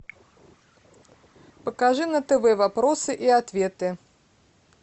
покажи на тв вопросы и ответы